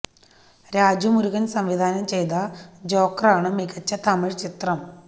രാജു മുരുകൻ സംവിധാനം ചെയ്ത ജോക്കറാണ് മികച്ച തമിഴ് ചിത്രം